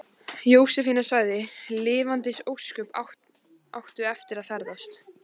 Jósefína sagði: Lifandis ósköp áttu eftir að ferðast.